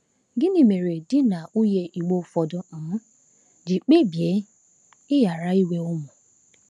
Gịnị mere di na nwunye Igbo ụfọdụ um ji kpebie ịghara inwe ụmụ?